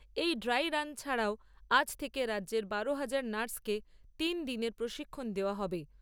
এই dry run ছাড়াও আজ থেকে রাজ্যের বারো হাজার নার্সকে তিনদিনের প্রশিক্ষণ দেওয়া হবে।